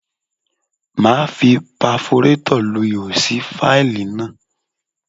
Máa fi paforétọ̀ lu ihò sí fáìlì náà.